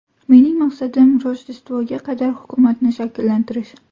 Mening maqsadim Rojdestvoga qadar hukumatni shakllantirish.